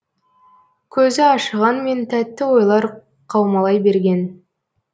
көзі ашығанмен тәтті ойлар қаумалай берген